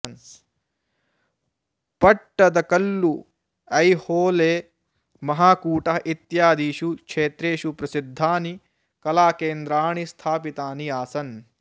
पट्टदकल्लु ऐहोळे महाकूटः इत्यादिषु क्षेत्रेषु प्रसिद्धानि कलाकेन्द्राणि स्थापितानि आसन्